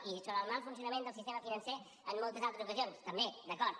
i sobre el mal funcionament del sistema financer en moltes altres ocasions també d’acord